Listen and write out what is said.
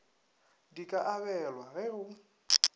di ka abelwa ge go